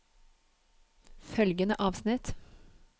Følgende avsnitt